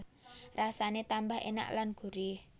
Rasane tambah enak lan gurih